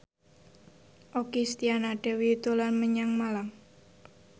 Okky Setiana Dewi dolan menyang Malang